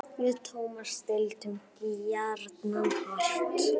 Við Tómas deildum gjarnan hart.